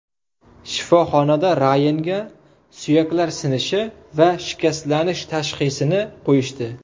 Shifoxonada Rayanga suyaklar sinishi va shikastlanish tashxisini qo‘yishdi.